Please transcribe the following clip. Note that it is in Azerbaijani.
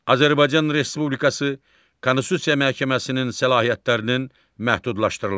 Azərbaycan Respublikası Konstitusiya Məhkəməsinin səlahiyyətlərinin məhdudlaşdırılması.